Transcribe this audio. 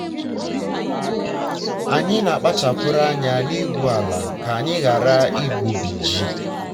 anyị na-akpachara anya n'igwu ala ka anyị ghara igbubi ji. um